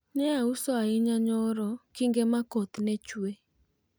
nye auso ahinya nyoro kinge ma koth ne chuwe